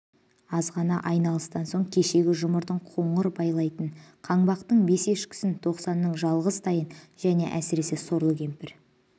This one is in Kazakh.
аз ғана айналыстан соң кешегі жұмырдың қоңыр байталын қаңбақтың бес ешкісін тоқсанның жалғыз тайын жөне әсіресе сорлы кемпір